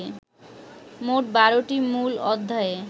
মোট ১২টি মূল অধ্যায়ে